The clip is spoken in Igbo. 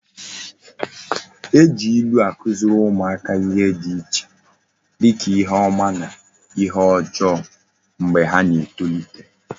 E ji ilu akuziri umuaka ihe di iche dika ihe oma na ihe ojoo mgba ha na etolite